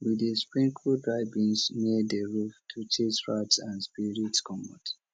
we dey sprinkle dry beans near di roof to chase rats and spirits comot